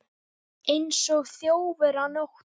Eins og þjófur á nóttu